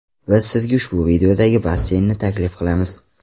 Biz sizga ushbu videodagi basseynni taklif qilamiz!